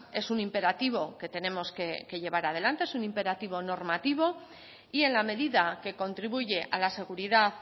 es un imperativo que tenemos que llevar adelante es un imperativo normativo y en la medida que contribuye a la seguridad